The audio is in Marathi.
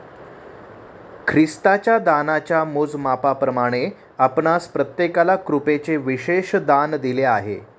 ख्रिस्ताच्या दानाच्या मोजमापाप्रमाणे आपणांस प्रत्येकाला कृपेचे विशेष दान दिले आहे.